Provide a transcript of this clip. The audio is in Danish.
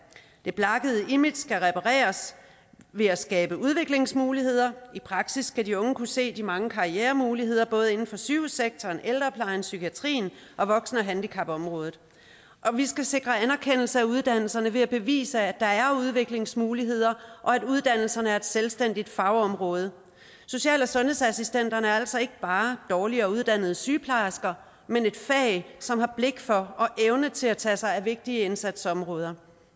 det blakkede image skal repareres ved at skabe udviklingsmuligheder i praksis skal de unge kunne se de mange karrieremuligheder både inden for sygehussektoren ældreplejen psykiatrien og voksen og handicapområdet og vi skal sikre anerkendelse af uddannelserne ved at bevise at der er udviklingsmuligheder og at uddannelserne er et selvstændigt fagområde social og sundhedsassistenterne er altså ikke bare dårligere uddannede sygeplejersker men et fag som har blik for og evne til at tage sig af vigtige indsatsområder